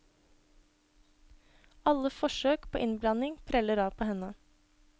Alle forsøk på innblanding preller av på henne.